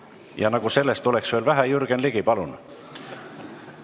Ja nagu sellest oleks veel vähe – Jürgen Ligi, palun!